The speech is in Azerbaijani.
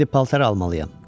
İndi paltar almalıyam.